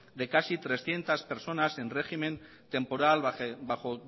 de casi trescientos personas en régimen temporal bajo